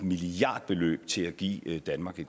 milliardbeløb til at give danmark